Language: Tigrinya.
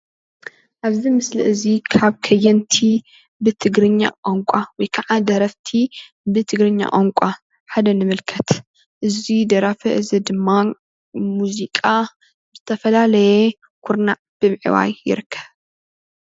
ኣብዚ ምስሊ እዚ ካብ ከየንቲ ብትግርኛ ቋንቋ ወይ ከዓ ደረፍቲ ብትግርኛ ቋንቋ ሓደ ንምልከት እዚ ደራፊ እዚ ድማ ሙዚቃ ብዝተፈላለየ ኩርናዕ ብምዕባይ ይርከብ።